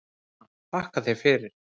Anna: Þakka þér fyrir.